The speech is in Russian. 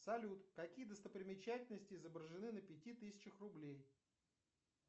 салют какие достопримечательности изображены на пяти тысячах рублей